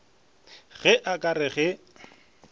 ge a ka re ge